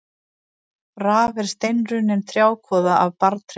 Raf er steinrunnin trjákvoða af barrtrjám.